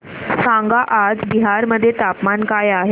सांगा आज बिहार मध्ये तापमान काय आहे